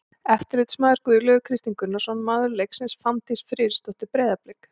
Eftirlitsmaður: Guðlaugur Kristinn Gunnarsson Maður leiksins: Fanndís Friðriksdóttir, Breiðablik.